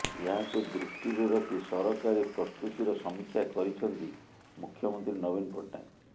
ଏହାକୁ ଦୃଷ୍ଟିରେ ରଖି ସରକାରୀ ପ୍ରସ୍ତୁତିର ସମୀକ୍ଷା କରିଛନ୍ତି ମୁଖ୍ୟମନ୍ତ୍ରୀ ନବୀନ ପଟ୍ଟନାୟକ